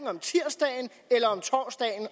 om tirsdagen eller om torsdagen